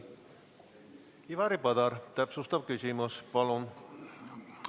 Ivari Padar, täpsustav küsimus, palun!